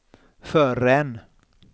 förrän